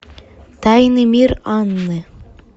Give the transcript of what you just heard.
тайный мир анны